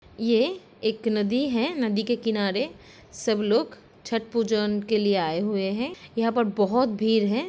ये एक नदी है। नदी के किनारे सब लोग छठ पूजोन के लिए आए हुए हैं। यहाँं पर बोहोत भीर है।